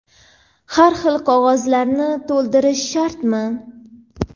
har xil qog‘ozlarni to‘ldirish shartmi?.